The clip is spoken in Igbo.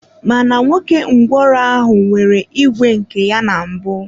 Mana nwoke ngwụro ahụ nwere ìgwè nke ya na mbụ.